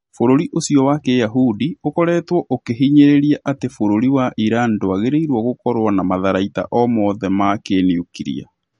Bũrũri ũcio wa kĩyahũndi ũkoretwo ũkĩhinyĩrĩria ati bũrũri wa Iran ndwagĩrĩirwo gũkorwo na matharaita o mothe ma kĩniukiria